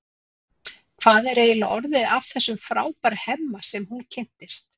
Hvað er eiginlega orðið af þessum frábæra Hemma sem hún kynntist?